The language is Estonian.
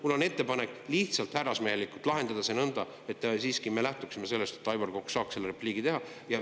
Mul on ettepanek härrasmehelikult lahendada see nõnda, et me siiski lähtume sellest, et Aivar Kokk saab repliigi teha.